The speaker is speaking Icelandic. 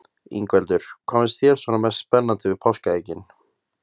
Ingveldur: Hvað finnst þér svona mest spennandi við páskaeggin?